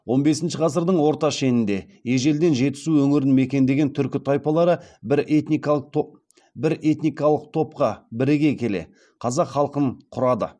он бесінші ғасырдың орта шенінде ежелден жетісу өңірін мекендеген түркі тайпалары бір этникалық топқа біріге келе қазақ халқын құрады